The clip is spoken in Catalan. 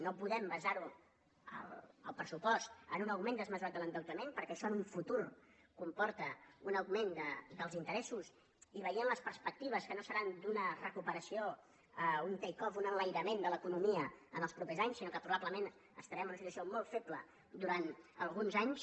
no podem basar el pressupost en un augment desmesurat de l’endeutament perquè això en un futur comporta un augment dels interessos i veient les perspectives que no seran d’una recuperació un take offun enlairament de l’economia en els propers anys sinó que probablement estarem en una situació molt feble durant alguns anys